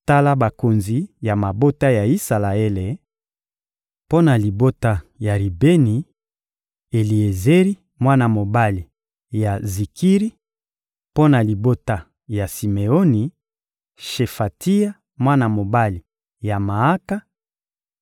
Tala bakonzi ya mabota ya Isalaele: Mpo na libota ya Ribeni: Eliezeri, mwana mobali ya Zikiri; mpo na libota ya Simeoni: Shefatia, mwana mobali ya Maaka;